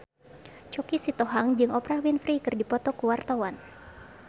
Choky Sitohang jeung Oprah Winfrey keur dipoto ku wartawan